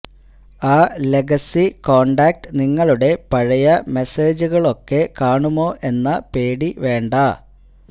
ആ legacy contact നിങ്ങളുടെ പഴയ മെസേജുകളൊക്കെ കാണുമോ എന്ന പേടി വേണ്ട